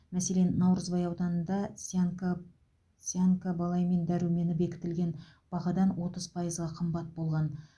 мәселен наурызбай ауданында цианкаб цианкобаламин дәрумені бекітілген бағадан отыз пайызға қымбат болған